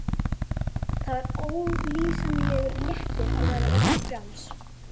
Kysst og kelað í öllum tómstundum.